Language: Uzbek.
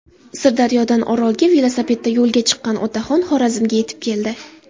Sirdaryodan Orolga velosipedda yo‘lga chiqqan otaxon Xorazmga yetib keldi.